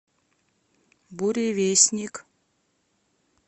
буревестник